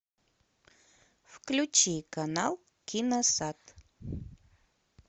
включи канал киносад